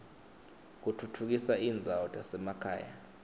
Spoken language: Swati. kutfutfukisa tindzawo tasemakhaya